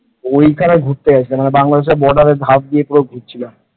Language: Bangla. ওইখানে ঘুরতে গিয়েছিলাম বাংলাদেশের border র ধাপ দিয়ে পুরো ঘুরছিলাম ।